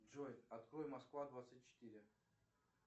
джой открой москва двадцать четыре